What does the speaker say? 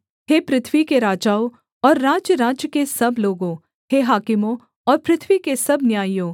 हे पृथ्वी के राजाओं और राज्यराज्य के सब लोगों हे हाकिमों और पृथ्वी के सब न्यायियों